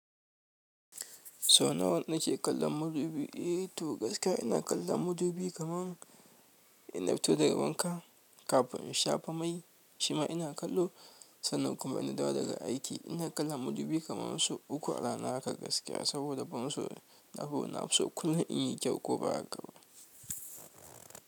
Sau nawa nike kallon madubi, eh to, gaskiya ina kallin madubi kaman inna fito daga wanka, kafin in shafa mai shima ina kallo. Sannan kuma in na dawo daga aiki, ina kallon mudubi kama sau uku a rana hakan gaskiya saboda ban so na hura na fi so kullum in yi kyau ko ba haka ba?